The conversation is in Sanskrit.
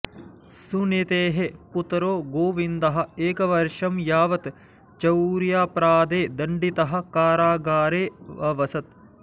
सुनीतेः पुत्रो गोविन्दः एकवर्षं यावत् चौर्यापराधे दण्डितः कारागारेऽवसत्